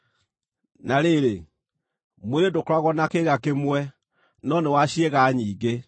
Na rĩrĩ, mwĩrĩ ndũkoragwo na kĩĩga kĩmwe, no nĩ wa ciĩga nyingĩ.